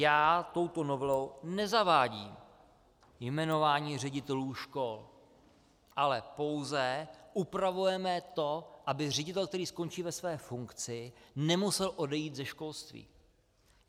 Já touto novelou nezavádím jmenování ředitelů škol, ale pouze upravujeme to, aby ředitel, který skončí ve své funkci, nemusel odejít ze školství.